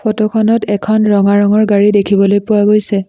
Photo খনত এখন ৰঙা ৰঙৰ গাড়ী দেখিবলৈ পোৱা গৈছে।